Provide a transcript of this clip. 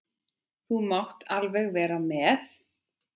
Þú mátt alveg vera með.